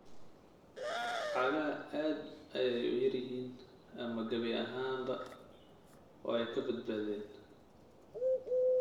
Cagaha aad ayay u yar yihiin ama gabi ahaanba way ka badbaadeen.